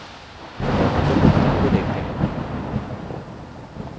और निम्न उदाहरण को देखते हैं: